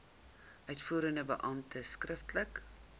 uitvoerende beampte skriftelik